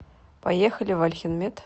поехали вальхенмед